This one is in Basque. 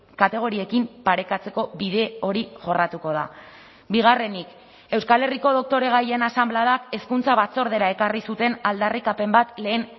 kategoriekin parekatzeko bide hori jorratuko da bigarrenik euskal herriko doktoregaien asanbladak hezkuntza batzordera ekarri zuten aldarrikapen bat lehen